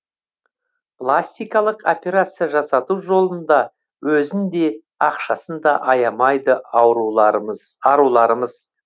пластикалық операция жасату жолында өзін де ақшасын да аямайды аруларымыз